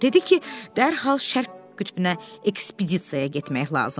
Dedi ki, dərhal Şərq qütbünə ekspedisiyaya getmək lazımdır.